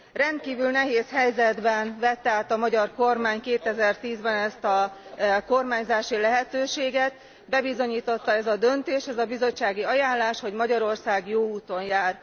Rendkívül nehéz helyzetben vette át a magyar kormány 2010 ben ezt a kormányzási lehetőséget, bebizonyította ez a döntés, ez a bizottsági ajánlás, hogy Magyarország jó úton jár.